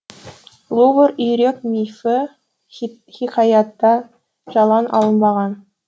лувр үйрек мифі хикаятта жалаң алынбаған